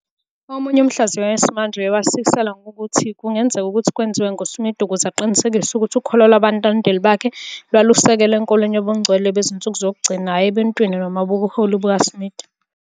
Omunye umhlaziyi wesimanje uye wasikisela ukuthi lokhu kungenzeka ukuthi kwenziwa nguSmith ukuze aqinisekise ukuthi ukholo lwabalandeli bakhe lwalusekelwe enkolweni Yobungcwele Bezinsuku Zokugcina hhayi ebuntwini noma kubuholi bukaSmith.